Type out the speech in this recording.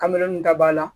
Kamele nin da b'a la